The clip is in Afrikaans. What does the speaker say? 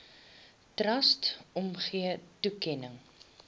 trust omgee toekenning